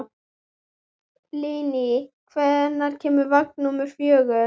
Líni, hvenær kemur vagn númer fjögur?